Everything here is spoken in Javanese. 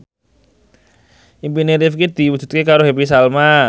impine Rifqi diwujudke karo Happy Salma